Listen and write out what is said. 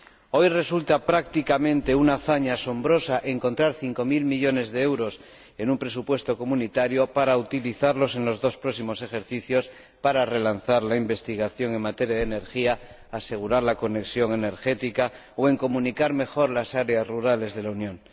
Hoy resulta prácticamente una hazaña asombrosa encontrar cinco mil millones de euros en un presupuesto comunitario para utilizarlos en los dos próximos ejercicios, para relanzar la investigación en materia de energía, asegurar la conexión energética o comunicar mejor las áreas rurales de la Unión.